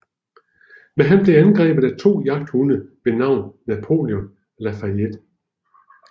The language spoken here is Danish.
Men han bliver angrebet af to jagthunde ved navn Napoleon og Lafayette